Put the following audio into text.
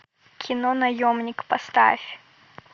кино наемник поставь